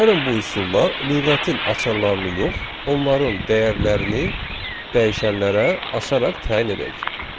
Gəlin bu üsulla lüğətin açarlarını yox, onların dəyərlərini dəyişənlərə açaraq təyin edək.